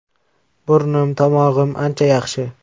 Burnim, tomog‘im ancha yaxshi.